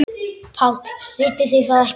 PÁLL: Vitið þið það ekki?